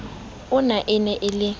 ona e ne e le